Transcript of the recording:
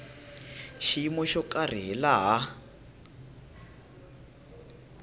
xiyimo xo karhi hi laha